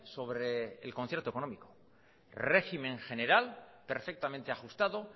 sobre el concierto económico régimen general perfectamente ajustado